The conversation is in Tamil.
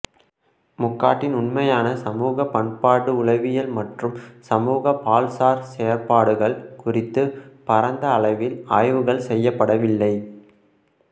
முக்காட்டின் உண்மையான சமூக பண்பாட்டு உளவியல் மற்றும் சமூக பால்சார் செயற்பாடுகள் குறித்து பரந்த அளவில் ஆய்வுகள் செய்யப்படவில்லை